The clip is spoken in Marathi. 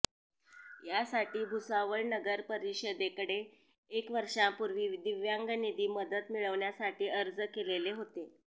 यासाठी भुसावळ नगरपरिषदेकडे एक वर्षांपूर्वी दिव्यांग निधी मदत मिळण्यासाठी अर्ज केलेले होते